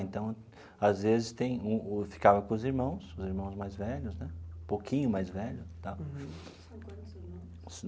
Então, às vezes tem o o, ficava com os irmãos, os irmãos mais velhos né, um pouquinho mais velhos tá.